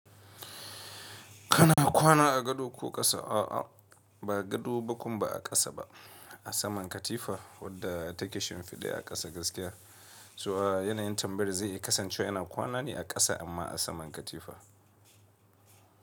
Kana kwana a gado ko ƙasa? A'a, ba gado ba kuma ba a ƙasa ba, a saman katifa wadda take shimfiɗe a ƙasa gaskiya. So a yanayin tambayar zai kasance ina kwana ne a ƙasa amma a saman katifa.